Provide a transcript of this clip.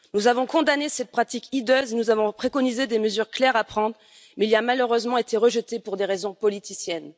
Nous avons condamné cette pratique hideuse, nous avons préconisé des mesures claires à prendre, mais le texte a malheureusement été rejeté pour des raisons politiciennes.